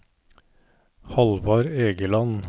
Hallvard Egeland